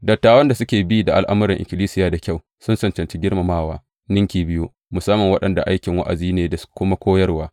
Dattawan da suka bi da al’amuran ikkilisiya da kyau sun cancanci girmamawa ninki biyu, musamman waɗanda aikinsu wa’azi ne da kuma koyarwa.